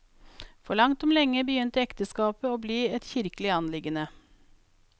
For langt om lenge begynte ekteskapet å bli et kirkelig anliggende.